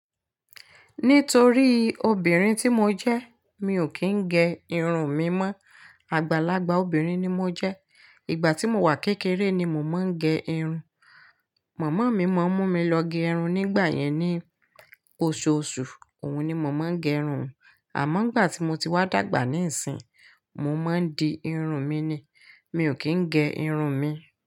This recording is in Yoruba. Nítorí obìnrin tí mo jẹ́ mi ò kí ń gẹ irun mi mọ́. Àgbàlagbà obìnrin ni mo jẹ́. Ìgbà tí mo wà kékeré ni mo máa ń gẹ irun. Màmá mi máa ń mú mi lọ gẹ irun nígbà yẹn ní oṣooṣù. Òhun ni mo máa ń gẹ irun. Àmọ́ nígbà tí mo ti wá dàgbà níìsín, mo máa ń di irun mi ni. Mi ò kí ń gẹ irun mi.